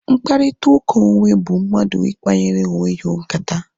Mkparịta ụka onwe bụ mmadụ ikpanyere onwe ya nkata